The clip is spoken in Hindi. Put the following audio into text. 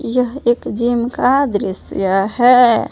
यह एक जिम का दृश्य है।